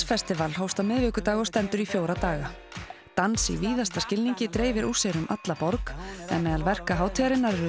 festival hófst á miðvikudag og stendur í fjóra daga dans í víðasta skilningi dreifir úr sér um alla borg en verk hátíðarinnar eru